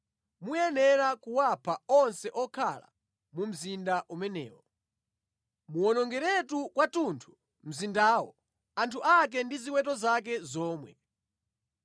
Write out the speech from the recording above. muyenera kuwapha onse okhala mu mzinda umenewo. Muwonongeretu kwathunthu mzindawo, anthu ake ndi ziweto zake zomwe.